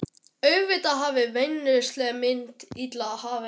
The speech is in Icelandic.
Auðvitað hafði vínneysla mín ill áhrif heima.